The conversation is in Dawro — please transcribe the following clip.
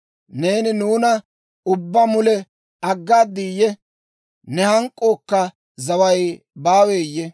Neeni nuuna ubbaa mule aggaadiiyye? Ne hank'k'ookka zaway baaweeyye?